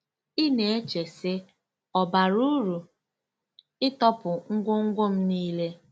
Ị na-eche, sị, ‘Ọ̀ bara uru ịtọpụ ngwongwo m nile? '